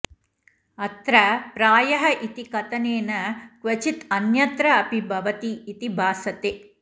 अत्र प्रायः इति कथनेन क्वचित् अन्यत्र अपि भवति इति भासते